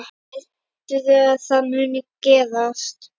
Heldurðu að það muni gerast?